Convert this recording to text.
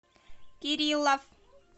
кириллов